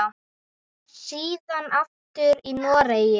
Síðan aftur í Noregi.